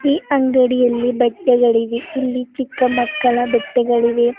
ಈ ಅಂಗಡಿಯಲ್ಲಿ ಬಟ್ಟೆಗಳಿವೆ ಇಲ್ಲಿ ಚಿಕ್ಕ ಮಕ್ಕಳ ಬಟ್ಟೆಗಳಿವೆ.